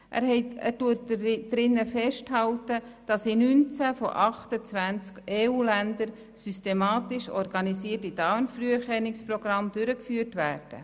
Er hält darin fest, dass in 19 von 28 EU-Ländern systematisch organisierte Darmkrebsfrüherkennungsprogramme durchgeführt werden.